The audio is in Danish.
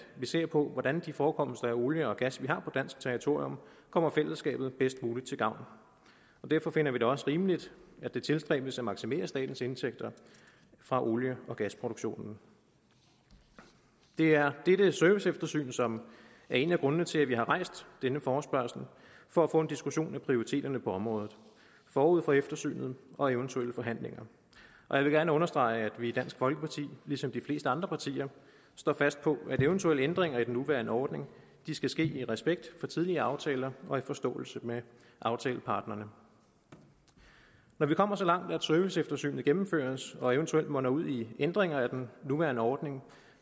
vi ser på hvordan de forekomster af olie og gas vi har på dansk territorium kommer fællesskabet bedst mulig til gavn derfor finder vi det også rimeligt at det tilstræbes at maksimere statens indtægter fra olie og gasproduktionen det er dette serviceeftersyn som er en af grundene til at vi har rejst denne forespørgsel for at få en diskussion af prioriteterne på området forud for eftersynet og eventuelle forhandlinger og jeg vil gerne understrege at vi i dansk folkeparti ligesom de fleste andre partier står fast på at eventuelle ændringer i den nuværende ordning skal ske i respekt for tidligere aftaler og i forståelse med aftaleparterne når vi kommer så langt at serviceeftersynet gennemføres og eventuelt munder ud i ændringer af den nuværende ordning